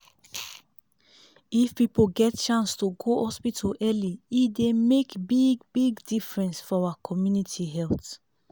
if people get chance to go hospital early e dey make big-big difference for our community health.